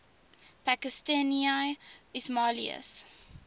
pakistani ismailis